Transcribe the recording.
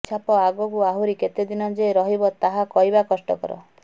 ଏହି ଛାପ ଆଗକୁ ଆହୁରି କେତେ ଦିନ ଯେ ରହିବ ତାହା କହିବା କଷ୍ଟକର